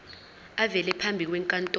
avele phambi kwenkantolo